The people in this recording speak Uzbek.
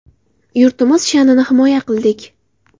Yurtimiz sha’nini himoya qildik.